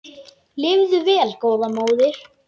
Lifðu vel góða móðir.